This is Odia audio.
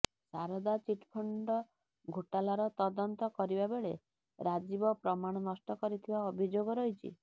ଶାରଦା ଚିଟଫଣ୍ଡ ଘୋଟାଲାର ତଦନ୍ତ କରିବା ବେଳେ ରାଜୀବ ପ୍ରମାଣ ନଷ୍ଟ କରିଥିବା ଅଭିଯୋଗ ରହିଛି